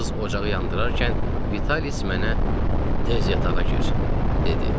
Qız ocağı yandırarkən, Vitalis mənə "Tez yatağa gir!" dedi.